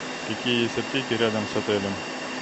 какие есть аптеки рядом с отелем